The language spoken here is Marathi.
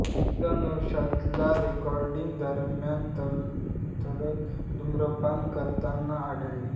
एकदा नौशादला रेकॉर्डिंग दरम्यान तलत धूम्रपान करताना आढळले